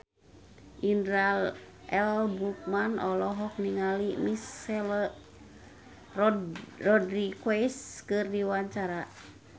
Indra L. Bruggman olohok ningali Michelle Rodriguez keur diwawancara